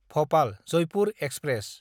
भपाल–जयपुर express